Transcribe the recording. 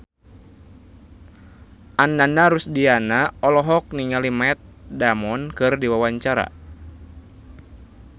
Ananda Rusdiana olohok ningali Matt Damon keur diwawancara